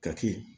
Kaki